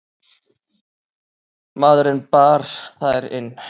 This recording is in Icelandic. Maðurinn bar þær inn.